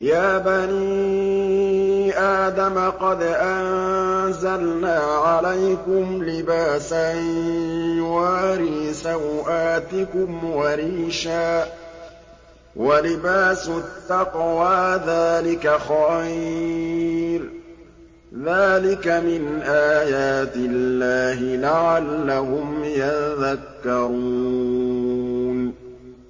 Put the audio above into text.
يَا بَنِي آدَمَ قَدْ أَنزَلْنَا عَلَيْكُمْ لِبَاسًا يُوَارِي سَوْآتِكُمْ وَرِيشًا ۖ وَلِبَاسُ التَّقْوَىٰ ذَٰلِكَ خَيْرٌ ۚ ذَٰلِكَ مِنْ آيَاتِ اللَّهِ لَعَلَّهُمْ يَذَّكَّرُونَ